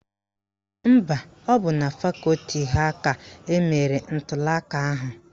Mba, ọ bụ na fakọti ha ka emere ntuliaka ahụ